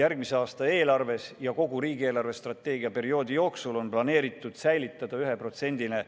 Järgmise aasta eelarves ja kogu riigi eelarvestrateegia perioodi jooksul on planeeritud hoida